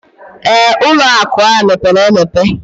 Ee, ụlọ akụ ahụ mepere emepe